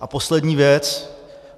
A poslední věc.